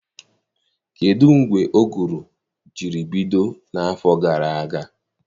Kedụ mgbe ụgụrụ jiri bido n'afọ gara aga?